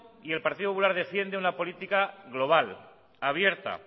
y el partido popular defiende una política global abierta